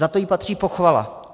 Za to jí patří pochvala.